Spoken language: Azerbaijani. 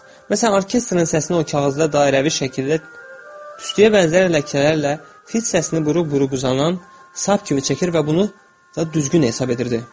Məsələn orkestrin səsini o kağızda dairəvi şəkildə tüstüyə bənzər ləkələrlə, fit səsini buru-buru uzanan sap kimi çəkir və bunu da düzgün hesab edirdi.